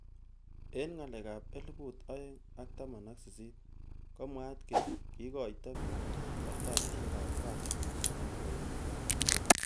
Eng ngalek ab elibu aeng ak taman ak sisit komwaat kele kikoito bik kartasishek ab kasit chemaboiman.